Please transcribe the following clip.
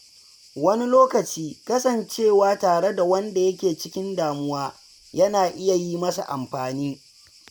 Wani lokaci; kawai kasancewa tare da wanda yake cikin damuwa yana iya yi masa amfani.